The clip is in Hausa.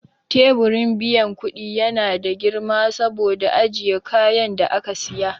Teburin biyan kudi ya na da girma saboda ajiye kayan da aka siya.